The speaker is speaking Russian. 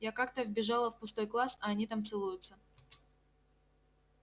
я как-то вбежала в пустой класс а они там целуются